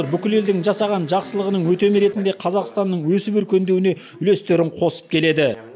бүкіл елдің жасаған жақсылығының өтемі ретінде қазақстанның өсіп өркендеуіне үлестерін қосып келеді